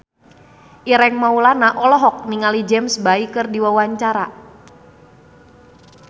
Ireng Maulana olohok ningali James Bay keur diwawancara